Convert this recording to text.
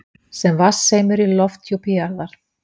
sem vatnseimur í lofthjúpi jarðar.